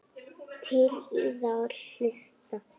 Til í að hlusta.